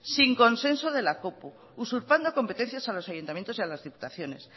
sin consenso de la copu usurpando competencias a los ayuntamientos y a las diputaciones